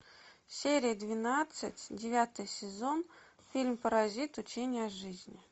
серия двенадцать девятый сезон фильм паразит учение о жизни